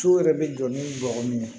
So yɛrɛ bɛ jɔ ni bɔgɔ min ye